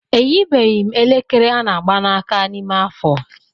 Eyibeghị m elekere ana ágbà na aka n'ime afọ.